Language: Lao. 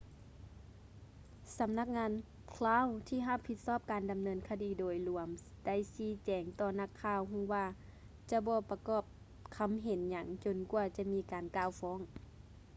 ສໍານັກງານ crown ທີ່ຮັບຜິດຊອບການດຳເນີນຄະດີໂດຍລວມໄດ້ຊີ້ແຈງຕໍ່ນັກຂ່າວຮູ້ວ່າຈະບໍ່ປະກອບຄຳເຫັນຫຍັງຈົນກວ່າຈະມີການກ່າວຟ້ອງ